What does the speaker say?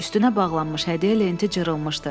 Üstünə bağlanmış hədiyyə lenti cırılmışdı.